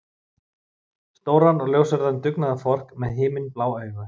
Stóran og ljóshærðan dugnaðarfork með himinblá augu.